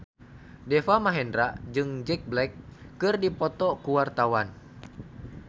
Deva Mahendra jeung Jack Black keur dipoto ku wartawan